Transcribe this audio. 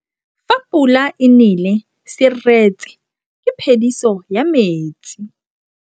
Fa pula e nelê serêtsê ke phêdisô ya metsi.